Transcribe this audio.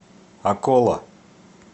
акола